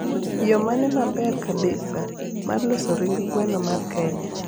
yo mane maber kabisa mar loso ring gweno mar kenya